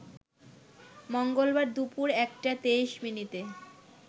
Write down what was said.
মঙ্গলবার দুপুর ১টা ২৩ মিনিটে